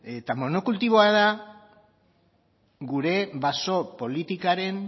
eta monokultiboa da gure baso politikaren